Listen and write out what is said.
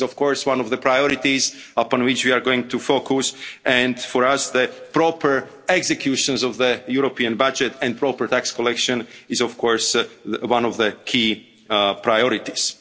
This is, of course, one of the priorities upon which we are going to focus, and for us, the proper execution of the European budget and proper tax collection is, of course, one of the key priorities.